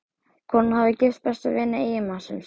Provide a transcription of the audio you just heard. Konan hafði gifst besta vini eiginmannsins.